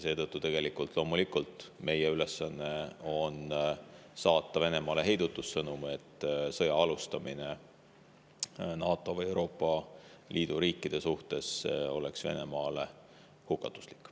Seetõttu on meie ülesanne saata Venemaale loomulikult heidutussõnum, et sõja alustamine NATO või Euroopa Liidu riikide vastu oleks Venemaale hukatuslik.